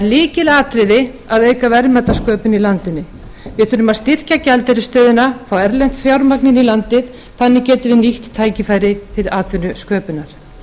lykilatriði að auka verðmætasköpun í landinu við þurfum að styrkja gjaldeyrisstöðuna fá erlent fjármagn inn í landið þannig getum við nýtt tækifæri til atvinnusköpunar